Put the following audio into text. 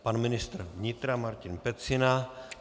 Pan ministr vnitra Martin Pecina.